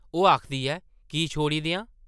ओह् आखदी ऐ– की छोड़ी देआं?